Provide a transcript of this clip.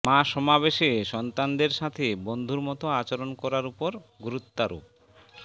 মা সমাবেশে সন্তানদের সাথে বন্ধুর মত আচরণ করার উপর গুরুত্বারোপ